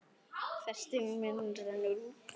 Frestur minn rennur út.